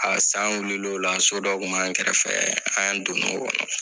A san wulila ola so dɔ kun b'an kɛrɛfɛ an dona o kɔnɔ